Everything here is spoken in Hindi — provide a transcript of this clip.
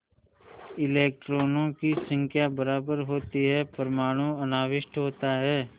इलेक्ट्रॉनों की संख्या बराबर होती है परमाणु अनाविष्ट होता है